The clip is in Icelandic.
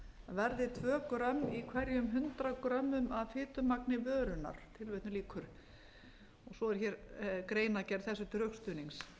verði tvö grömm í hverjum hundrað grömmum af fitumagni vörunnar svo er hér greinargerð þessu til rökstuðnings